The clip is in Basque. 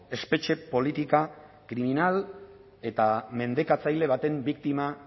espetxe politika kriminal eta mendekatzailea baten biktima